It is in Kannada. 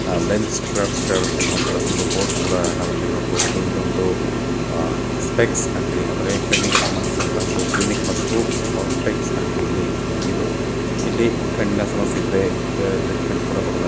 ಆ ಲೆನ್ಸ್ ಕ್ರಾಫ್ಟರ್ಸ್ ಅನ್ನೋವಂತಹ ಒಂದು ಬೋರ್ಡ್ ಕೂಡಾ ನಾವಿಲ್ಲಿ ನೋಡಬಹುದು. ಇದೊಂದು ಸ್ಪೆಕ್ಸ್ ಅಂಗಡಿ ಅಂದ್ರೆ ಕಣ್ಣಿಗೆ ಸಂಭಂದಿಸಿದಂತಹ ಒಂದು ಕ್ಲಿನಿಕ್ ಮತ್ತು ಸ್ಪೆಕ್ಸ್ ಅಂಗಡಿ. ಇಲ್ಲಿ ಇದು ಇಲ್ಲಿ ಕಣ್ಣಿನ ಸಮಸ್ಯೆ ಇದ್ರೆ ಟ್ರೇಟಮೆಂಟ್ ಕೂಡ ಕೊಡಲಾಗುತ್ತದೆ.